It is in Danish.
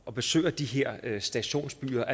og besøger de her stationsbyer